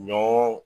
Ɲɔ